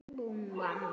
Hvað þýddi þetta þá?